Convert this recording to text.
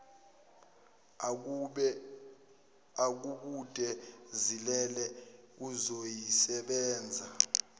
agubude zilele uzoyisebenza